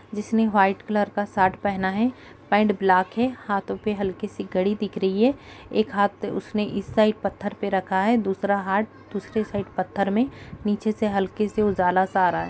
जिसने white colour का shirt पहना है पैन्ट ब्लाक है। हाथों पे हल्की सी घड़ी दिख रही है। एक हाथ उसने इस साइड पत्थर पे रखा है। दूसरा हाथ दूसरी साइड पत्थर में नीचे में हल्की सी उजाला सा आ रहा है।